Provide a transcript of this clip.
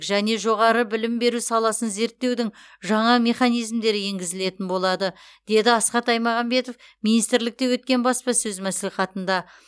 және жоғары білім беру саласын реттеудің жаңа механизмдері енгізілетін болады деді асхат аймағамбетов министрлікте өткен баспасөз мәслихатында